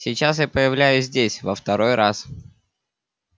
сейчас я появляюсь здесь во второй раз